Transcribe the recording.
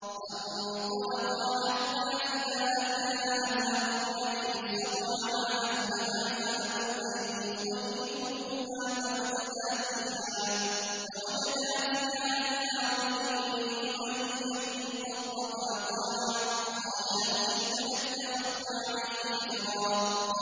فَانطَلَقَا حَتَّىٰ إِذَا أَتَيَا أَهْلَ قَرْيَةٍ اسْتَطْعَمَا أَهْلَهَا فَأَبَوْا أَن يُضَيِّفُوهُمَا فَوَجَدَا فِيهَا جِدَارًا يُرِيدُ أَن يَنقَضَّ فَأَقَامَهُ ۖ قَالَ لَوْ شِئْتَ لَاتَّخَذْتَ عَلَيْهِ أَجْرًا